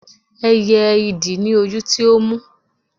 ẹyẹ idì ni ojú tí ó mú